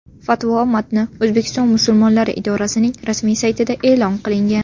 Fatvo matni O‘zbekiston musulmonlari idorasining rasmiy saytida e’lon qilingan .